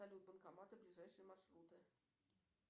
салют банкоматы ближайшие маршруты